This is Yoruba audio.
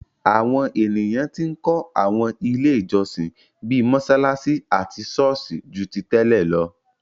Àwọn ènìyàn tí ń kó àwọn ilé ìjọsìn, bíi mọsalasi àti sọ́ọ̀sì, ju ti tẹ́lẹ̀ lọ.